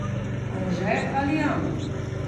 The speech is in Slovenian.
Anže ali Jan?